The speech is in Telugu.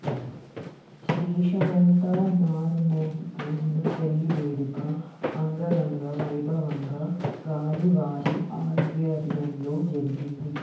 దేశమంతా మార్మోగిపోయిన పెళ్లి వేడుక అంగరంగవైభవంగా గాలి వారి ఆధ్వర్యంలో జరిగింది